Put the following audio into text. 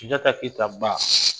Sunjata keyita ba